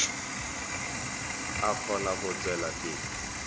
a kgone go tšwela pele